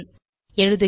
எழுதுகிறோம்